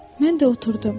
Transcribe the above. Mən də oturdum.